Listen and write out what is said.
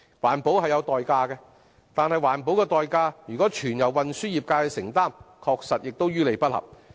環保是有代價的，但環保的代價如果全由運輸業界承擔，確實於理不合。